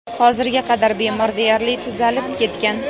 Hozirga qadar bemor deyarli tuzalib ketgan.